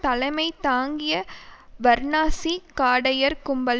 தலைமை தாங்கிய வர்ணாசி காடையர் கும்பல்